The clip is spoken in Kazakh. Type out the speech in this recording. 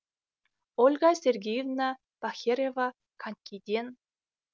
ольга сергеевна бахерева конькиден